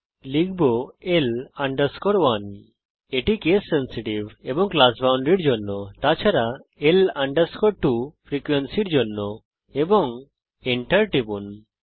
আমরা লিখব L 1 GeoGebra হল কেস সেন্সিটিভ এবং ক্লাস boundaries এর জন্য তাছাড়া L 2 ফ্রিকোয়েন্সির জন্য এবং Enter টিপুন